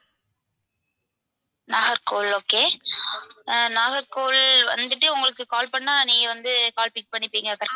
Nagercoil okay அஹ் நாகர்கோவில் வந்துட்டு உங்களுக்கு call பண்ணா நீங்க வந்து call pick பண்ணிப்பீங்க